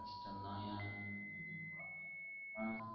கஷ்டம் தான் யா ஆஹ்